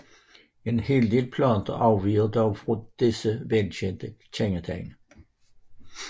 En hel del planter afviger dog fra disse velkendte kendetegn